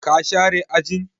Ka share ajin?